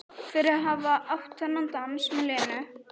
Fyrir að hafa átt þennan dans með Lenu.